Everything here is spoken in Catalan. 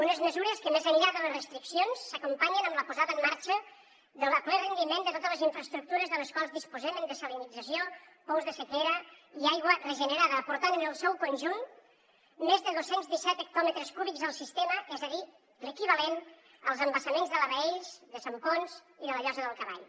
unes mesures que més enllà de les restriccions s’acompanyen amb la posada en marxa a ple rendiment de totes les infraestructures de les quals disposem en dessalinització pous de sequera i aigua regenerada aportant en el seu conjunt més de dos cents i disset hectòmetres cúbics al sistema és a dir l’equivalent als embassaments de la baells de sant ponç i de la llosa del cavall